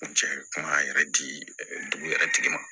N cɛ kuma yɛrɛ di dugu yɛrɛ tigi ma